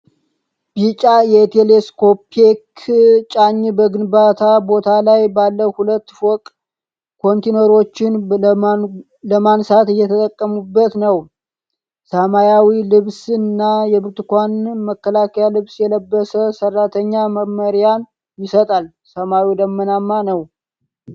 ቢጫ የቴሌስኮፒክ ጫኚ በግንባታ ቦታ ላይ ባለ ሁለት ፎቅ ኮንቴይነሮችን ለማንሳት እየተጠቀሙበት ነው። ሰማያዊ ልብስና የብርቱካን መከላከያ ልብስ የለበሰ ሠራተኛ መመሪያ ይሰጣል። ሰማዩ ደመናማ ነው።